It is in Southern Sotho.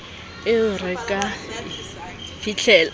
eo re ka e fihlelang